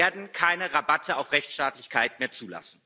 Wir werden keine Rabatte auf Rechtsstaatlichkeit mehr zulassen.